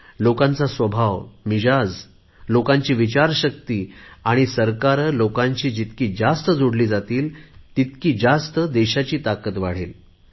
लोकांचा स्वभाव लोकांची विचारशक्ती आणि सरकारे लोकांशी जितकी जास्त जोडली जातील तितकी जास्त देशाची ताकद वाढेल